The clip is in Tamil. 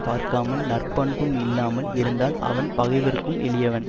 பார்க்காமல் நற்பண்பும் இல்லாமல் இருந்தால் அவன் பகைவர்க்கும் எளியவன்